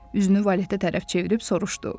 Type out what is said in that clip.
Üzünü valetə tərəf çevirib soruşdu.